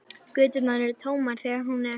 Göturnar eru tómar þegar hún er.